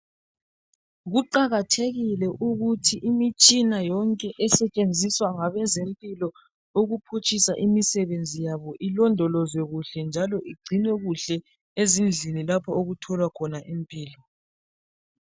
Kuqakathekile ukuthi imitshina yonke esetshenziswa ngabezemplo ukuphutshisa imisebenzi yabo ilondolozwe njalo igcinwe kuhle ezindlini lapho okutholwa khona impilo.